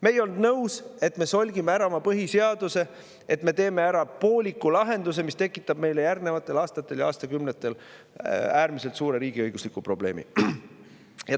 Me ei olnud nõus, et me solgime ära oma põhiseaduse, et me teeme pooliku lahenduse, mis tekitab meile järgnevatel aastatel ja aastakümnetel äärmiselt suure riigiõigusliku probleemi.